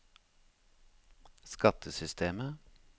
skattesystemet